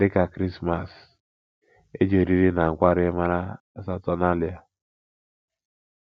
Dị ka Krismas, e ji oriri na nkwari mara Saturnalia.